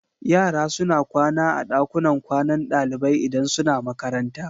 Yara suna kwana a ɗakunan kwanan ɗalibai idan suna makaranta.